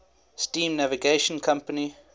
steam navigation company